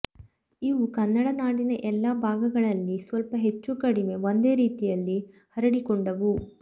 ಇವು ಕನ್ನಡ ನಾಡಿನ ಎಲ್ಲ ಭಾಗಗಳಲ್ಲಿ ಸ್ವಲ್ಪ ಹೆಚ್ಚು ಕಡಿಮೆ ಒಂದೇ ರೀತಿಯಲ್ಲಿ ಹರಡಿಕೊಂಡವು